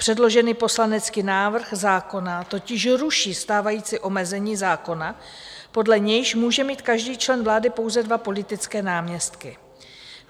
Předložený poslanecký návrh zákona totiž ruší stávající omezení zákona, podle nějž může mít každý člen vlády pouze dva politické náměstky.